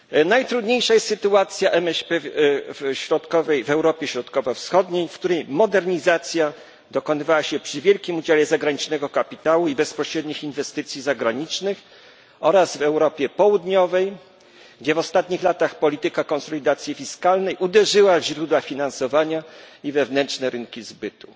Najtrudniejsza jest sytuacja MŚP w Europie Środkowo Wschodniej, w której modernizacja dokonywała się przy wielkim udziale zagranicznego kapitału i bezpośrednich inwestycji zagranicznych oraz w Europie Południowej, gdzie w ostatnich latach polityka konsolidacji fiskalnej uderzyła w źródła finansowania i wewnętrzne rynki zbytu.